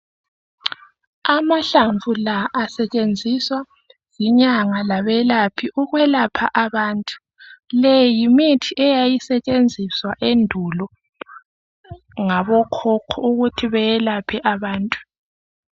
Amahlamvu lawa asetshenziswa yinyanga labelaphi ukwelapha abantu, le yimithi eyayisetshenziswa endulo ngokhokho ukuthi belaphe abantu.